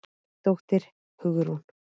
Þín dóttir, Hugrún.